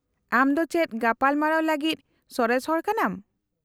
-ᱟᱢ ᱫᱚ ᱪᱮᱫ ᱜᱟᱯᱟᱞᱢᱟᱨᱟᱣ ᱞᱟᱹᱜᱤᱫ ᱥᱚᱨᱮᱥ ᱦᱚᱲ ᱠᱟᱱᱟᱢ ?